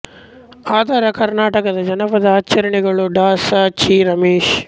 ಆಧಾರ ಕರ್ನಾಟಕದ ಜನಪದ ಆಚರಣೆಗಳು ಡಾ ಸ ಚಿ ರಮೇಶ್